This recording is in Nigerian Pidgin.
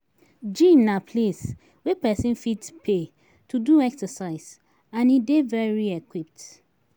Gym na place wey persin fit pay to do exercise and e de very equipped